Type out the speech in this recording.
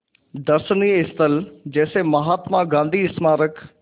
दर्शनीय स्थल जैसे महात्मा गांधी स्मारक